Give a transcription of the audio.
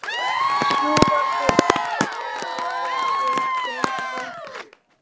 Sjúgandi uppí nefið geng ég í kringum húsið.